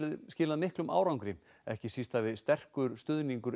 skilað miklum árangri ekki síst hafi sterkur stuðningur